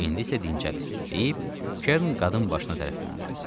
İndi isə dincəlin deyib, Kern qadın başına tərəf döndü.